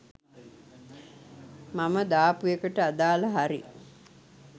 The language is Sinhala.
මම දාපුඑකට අදාල හරි